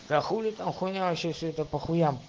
а хули там хуйня вообще все это по хуям